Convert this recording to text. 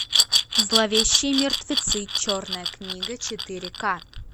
зловещие мертвецы черная книга четыре ка